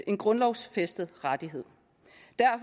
en grundlovsfæstet rettighed